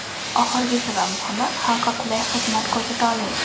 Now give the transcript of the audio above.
Oxirgisi va muhimi xalqqa qulay xizmat ko‘rsata olish.